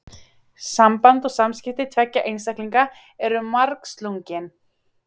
Samband og samskipti tveggja einstaklinga eru margslungin.